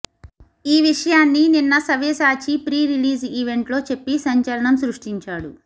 ఈ విషయాన్నీ నిన్న సవ్యసాచి ప్రీ రిలీజ్ ఈవెంట్ లో చెప్పి సంచలనం సృష్టించాడు